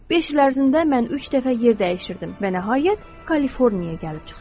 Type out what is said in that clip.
Beş il ərzində mən üç dəfə yer dəyişirdim və nəhayət, Kaliforniyaya gəlib çıxdım.